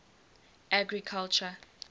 agriculture